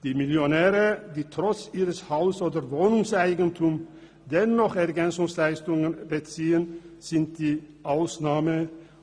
Die Millionäre, die trotz ihres Haus- oder Wohnungseigentums dennoch Ergänzungsleistungen beziehen, sind die Ausnahme.